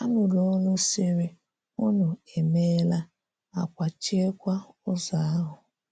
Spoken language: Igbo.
A nụrụ̀ òlù sịrị, “ùnù emèla,” à kwàchíèkwa ùzò ahụ.